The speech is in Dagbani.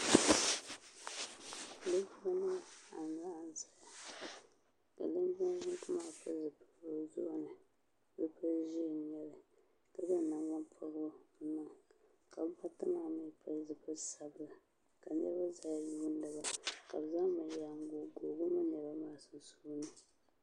linjima nima anahi n-ʒiya ka linjima yingi maa pili zupiligu o zuɣu ni zupil' ʒee ka zaŋ nangbun' pɔbirigu n-niŋ ka bɛ baa ata maa mi pili zupil' sabila ka niriba zaya yuuni ba ka zaŋ binyɛra n-goi goi bɛ mini niriba maa sunsuuni.